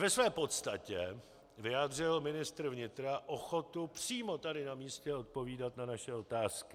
Ve své podstatě vyjádřil ministr vnitra ochotu přímo tady na místě odpovídat na naše otázky.